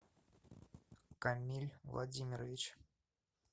камиль владимирович